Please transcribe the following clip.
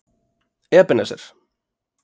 Ebenezer